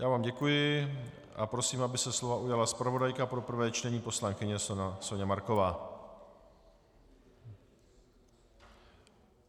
Já vám děkuji a prosím, aby se slova ujala zpravodajka pro prvé čtení poslankyně Soňa Marková.